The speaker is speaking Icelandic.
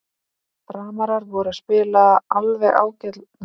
Framarar voru að spila alveg ágætlega en samt þarf að laga sendingarnar aðeins.